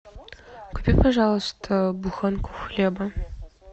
купи пожалуйста буханку хлеба